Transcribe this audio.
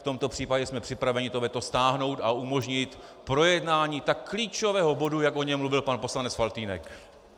V tomto případě jsme připraveni to veto stáhnout a umožnit projednání tak klíčového bodu, jak o něm mluvil pan poslanec Faltýnek.